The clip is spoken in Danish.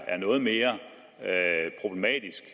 noget mere problematisk